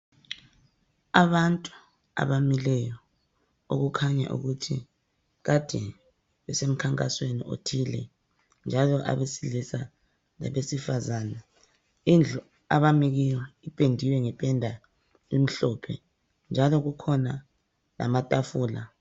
Abantu abamileyo okukhanya ukuthi kade bese mkhankasweni othile njalo abesilisa labesifazani indlu abami kiyo ipendiwe ngependa emhlophe njalo kukhona lamatafulaa